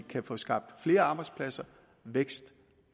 kan få skabt flere arbejdspladser vækst